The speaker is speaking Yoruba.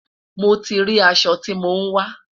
mo tí rí aṣọ tí mọ n wa